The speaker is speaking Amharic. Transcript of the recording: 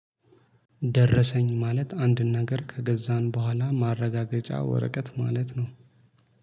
ደረሰኝ ማለት አንድን ነገር ከገዛን በኋላ ማረጋገጫ ወረቀት ማለት ነው